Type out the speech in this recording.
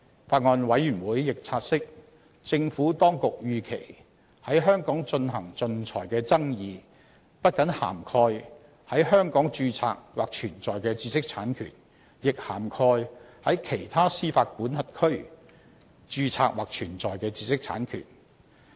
法案委員會亦察悉，政府當局預期，在香港進行仲裁的爭議不僅涵蓋在香港註冊或存在的知識產權，亦涵蓋在其他司法管轄區註冊或存在的知識產權。